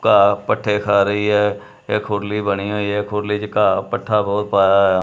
ਘਾਹ ਪੱਠੇ ਖਾ ਰਹੀ ਹੈ ਇਹ ਖੁਰਲੀ ਬਣੀ ਹੋਈ ਹੈ ਖੁਰਲੀ ਚ ਘਾਹ ਪੱਠਾ ਬਹੁਤ ਪਾਇਆ ਹੋਇਆ।